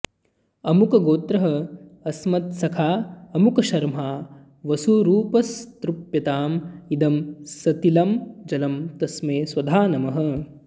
अमुकगोत्रः अस्मत्सखा अमुकशर्मा वसुरूपस्तृप्यताम् इदं सतिलं जलं तस्मै स्वधा नमः